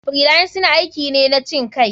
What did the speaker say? Freelancing aiki ne na cinkai.